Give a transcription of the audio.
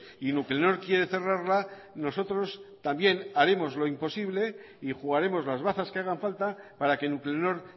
y nuclenor quiere cerrarla nosotros también haremos lo imposible y jugaremos las bazas que hagan falta para que nuclenor